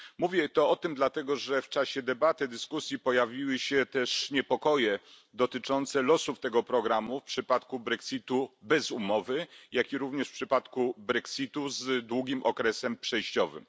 Mówię o tym dlatego, że w czasie debaty, dyskusji pojawiły się też niepokoje dotyczące losów tego programu w przypadku brexitu bez umowy, jak również w przypadku brexitu z długim okresem przejściowym.